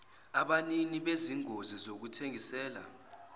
abanini bezingosi zokuthengisela